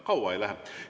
Kaua ei lähe.